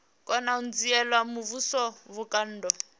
kona u dzhiela muvhuso vhukando